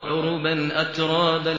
عُرُبًا أَتْرَابًا